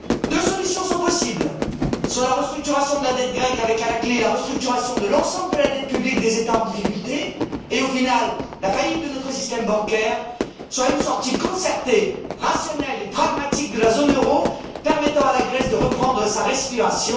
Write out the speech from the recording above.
Deux solutions sont possibles, soit la restructuration de la dette grecque avec, à la clé, la restructuration de l'ensemble de la dette publique des États en difficulté et, au final, la faillite de notre système bancaire, soit une sortie concertée, rationnelle et pragmatique de la zone euro permettant à la Grèce de reprendre sa respiration.